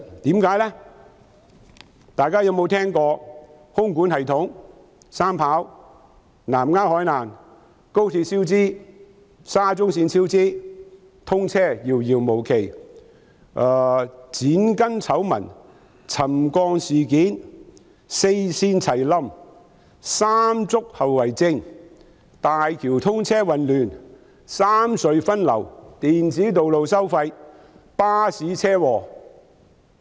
大家有沒有聽過空管系統、機場三跑道、南丫島海灘、高鐵超支、沙中線超支及通車遙遙無期、剪鋼筋醜聞、沉降事件、四線齊"冧"、"山竹"後遺症、大橋通車混亂、三隧分流、電子道路收費、巴士車禍？